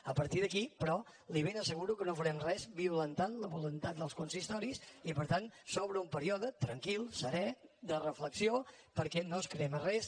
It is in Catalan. a partir d’aquí però li ben asseguro que no farem res violentant la voluntat dels consistoris i per tant s’obre un període tranquil serè de reflexió perquè no es crema res